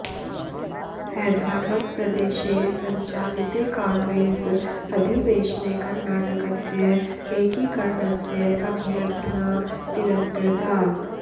हैदराबदप्रदेशे सञ्चालिते काङ्ग्रेस् अधिवेशने कर्णाटकस्य एकीकर्णस्य अभ्यर्थना तिरस्कृता